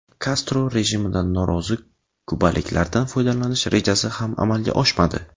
Kastro rejimidan norozi kubaliklardan foydalanish rejasi ham amalga oshmadi.